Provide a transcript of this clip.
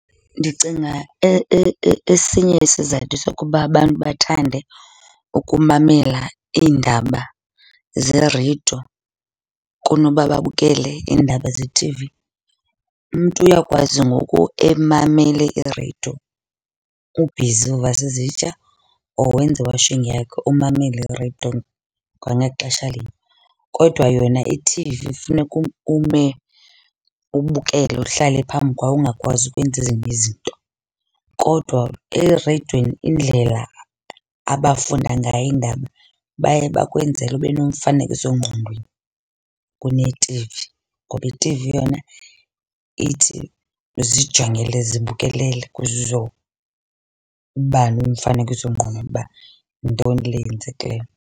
Ndicinga esinye isizathu sokuba abantu bathande ukumamela iindaba zereyido kunoba babukele iindaba ze-T_V umntu uyakwazi ngoku emamele ireyido ubhizi uvasa izitya or wenza i-washing yakhe umamele ireyido kwangexesha linye. Kodwa yona i-T_V funeka ume ubukele uhlale phambi kwayo ungakwazi ukwenza ezinye izinto. Kodwa ereyidweni indlela abafunda ngayo iindaba baye bakwenzele ube nomfanekiso ngqondweni kune-T_V, ngoba i-T_V yona ithi zijongele zibukelele ukuze uzoba nomfanekiso ngqondweni uba yintoni le yenzekileyo.